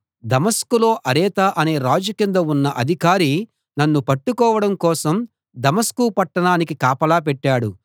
దమస్కులో అరెత అనే రాజు కింద ఉన్న అధికారి నన్ను పట్టుకోవడం కోసం దమస్కు పట్టణానికి కాపలా పెట్టాడు